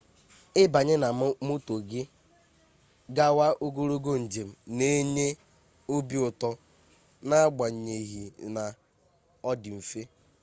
ibanye na moto gi gawa ogologo njem na enye obi uto n'agbanyeghina o di mfe